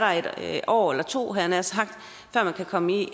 et år eller to havde jeg nær sagt før man kan komme i